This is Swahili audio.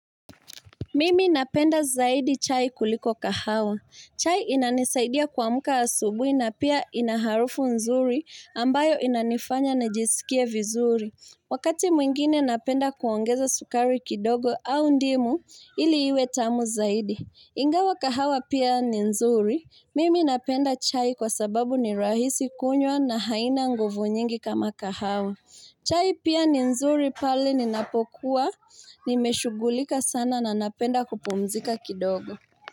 Mimi napenda zaidi chai kuliko kahawa. Chai inanisaidia kuamka asubui na pia inaharufu nzuri ambayo inanifanya na jisikia vizuri. Wakati mwingine napenda kuongeza sukari kidogo au ndimu ili iwe tamu zaidi. Ingawa kahawa pia ni nzuri. Mimi napenda chai kwa sababu ni rahisi kunywa na haina nguvu nyingi kama kahawa. Chai pia ni nzuri pale ninapokuwa, nimeshugulika sana na napenda kupumzika kidogo.